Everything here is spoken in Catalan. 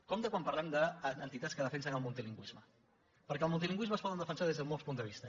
compte quan parlem d’entitats que defensen el multilingüisme perquè el multilingüisme es pot defensar des de molts punts de vista